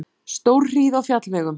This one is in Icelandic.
Stórhríð á fjallvegum